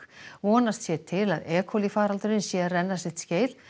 vonast sé til að e faraldurinn sé að renna sitt skeið